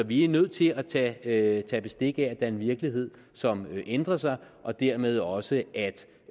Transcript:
vi er nødt til at tage tage bestik af at der er en virkelighed som ændrer sig og dermed også